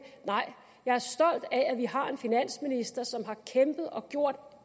nej jeg er stolt af at vi har en finansminister som har kæmpet og gjort